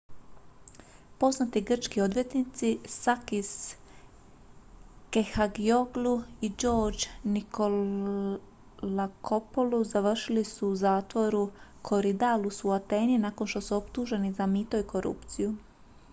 poznati grčki odvjetnici sakis kechagioglou i george nikolakopoulos završili su u zatvoru korydallus u ateni nakon što su optuženi za mito i korupciju